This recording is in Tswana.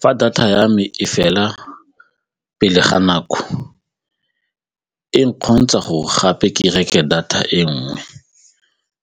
Fa data ya me e fela pele ga nako e nkgontsha gore gape ke reke data e nngwe